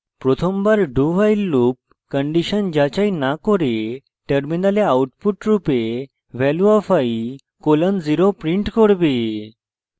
প্রথমবার dowhile loop condition যাচাই না করে terminal output রূপে value of i colon 0 print করবে